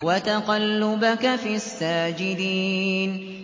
وَتَقَلُّبَكَ فِي السَّاجِدِينَ